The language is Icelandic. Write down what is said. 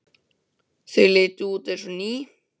Þau litu út eins og ný.